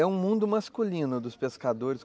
É um mundo masculino dos pescadores.